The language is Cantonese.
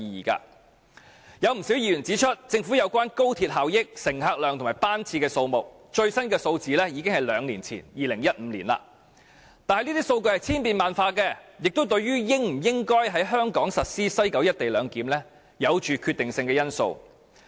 不少議員指出，政府所提供有關高鐵效益、乘客量和班次的數據，最新的數字已經是兩年前，即2015年的了，但這些數據是千變萬化的，亦是對香港應否在西九實施"一地兩檢"具決定性的因素。